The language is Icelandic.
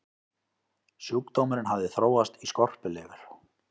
sjúkdómurinn hafði þróast í skorpulifur